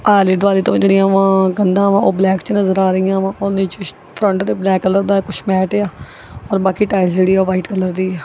ਆਲ਼ੇ ਦਵਾਲੇ ਦੋ ਜਿਹੜੀਆਂ ਵਾਂ ਕੰਧਾਂ ਵਾਂ ਉਹ ਬਲੈਕ 'ਚ ਨਜ਼ਰ ਆ ਰਹੀਆਂ ਵਾਂ ਉਹੰਦੇ 'ਚ ਕੁਛ ਫਰੰਟ ਤੇ ਬਲੈਕ ਕਲਰ ਦਾ ਹੈ ਕੁਛ ਮੈਟ ਏ ਆ ਔਰ ਬਾਕੀ ਟਾਈਲਸ ਜਿਹੜੀ ਆ ਉਹ ਵਾਈਟ ਕਲਰ ਦੀ ਆ।